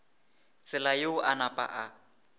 tsela yeo a napa a